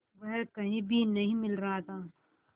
वह कहीं भी नहीं मिल रहा था